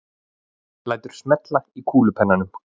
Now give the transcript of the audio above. Lætur smella í kúlupennanum.